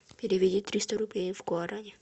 переведи триста рублей в гуарани